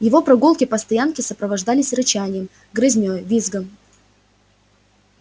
его прогулки по стоянке сопровождались рычанием грызнёй визгом